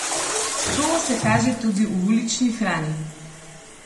To se kaže tudi v ulični hrani.